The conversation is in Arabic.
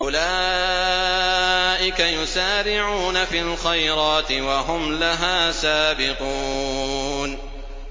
أُولَٰئِكَ يُسَارِعُونَ فِي الْخَيْرَاتِ وَهُمْ لَهَا سَابِقُونَ